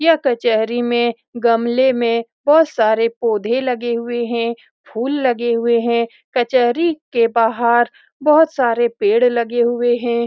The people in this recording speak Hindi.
यह कचहरी में गमले में बहुत सारे पोधे लगे हुए हैं फूल लगे हुए हैं कचहरी के बाहर बहुत सारे पेड़ लगे हुए हैं।